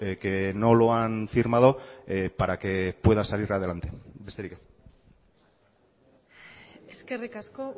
que no lo han firmado para que pueda salir adelante besterik ez eskerrik asko